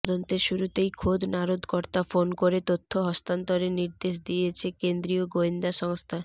তদন্তের শুরুতেই খোদ নারদকর্তা ফোন করে তথ্য হস্তান্তরের নির্দেশ দিয়েছে কেন্ত্রীয় গোয়েন্দা সংস্থা